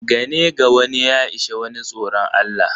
Gane gawane ya ishe wane tsoron Allah.